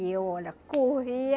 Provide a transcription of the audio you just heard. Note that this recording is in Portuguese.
E eu, olha, corria.